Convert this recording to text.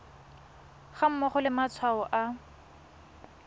ga mmogo le matshwao a